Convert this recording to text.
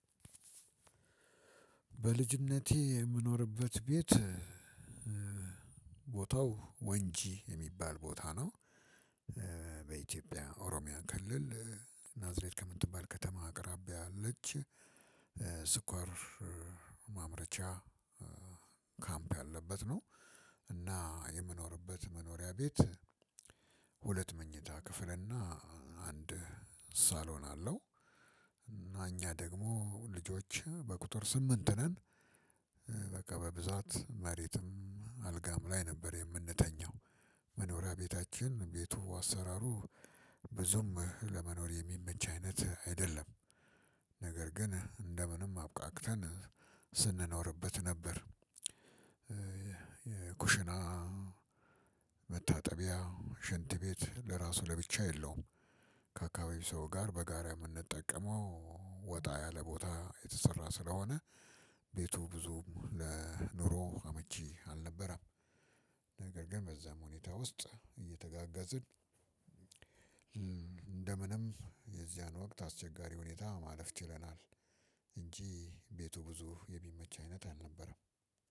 በልጅነቴ የምኖርበት ቤት ቦታው ወንጂ የሚባል ቦታ ነው። በኢትዮጵያ ኦሮሚያ ክልል ናዝሬት ከምትባል ከተማ አቅራቢያ አለች። ስኳር ማምረቻ ካምፕ ያለበት ነው። እና የምኖርበት መኖሪያ ቤት ሁለት መኝታ ክፍል እና አንድ ሳሎን አለው። እና እኛ ደግሞ ልጆች በቁጥር ስምንት ነን። በቃ በብዛት መሬትም አልጋም ላይ ነበር የምንተኛው። መኖሪያ ቤታችን ቤቱ አሰራሩ ብዙም ለመኖር የሚመች አይነት አይደለም። ነገር ግን እንደ ምንም አብቃቅተን ስንኖርበት ነበር። የኩሽና :መታጠቢያ: ሽንት ቤት ለራሱ ለብቻ የለውም ከአካባቢ ሰው ጋር በጋራ የምንጠቀመው ወጣ ያለ ቦታ የተሰራ ስለሆነ- ቤቱ ብዙ ለኑሮ አመቺ አልነበረም። ነገር ግን በዛም ሁኔታ ውስጥ እየተጋጋዝን እንደ ምንም የዚያን ወቅት አስቸጋሪ ሁኔታ ማለፍ ችለናል። እንጂ ቤቱ ብዙ የሚመች አይነት አልነበረም።